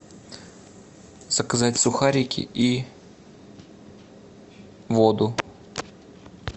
заказать сухарики и воду